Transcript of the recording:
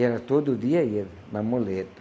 Ela todo dia ia, na muleta.